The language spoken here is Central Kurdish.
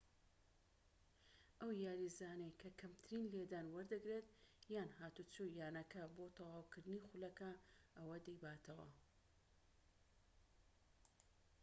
ئەو یاریزانەی کە کەمترین لێدان وەردەگرێت، یان هاتوچۆی یانەکە، بۆ تەواوکردنی خولەکە ئەوە دەیباتەوە‎